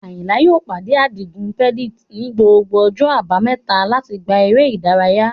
Ayinla yóò pàdé Adigun Reddit ní gbogbo ọjọ́ Àbámẹ́ta láti gbá eré ìdárayá.